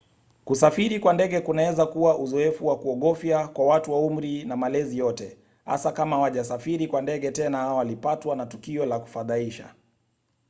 kusafiri kwa ndege kunaweza kuwa uzoefu wa kuogofya kwa watu wa umri na malezi yote hasa kama hawajasafiri kwa ndege tena au walipatwa na tukio la kufadhaisha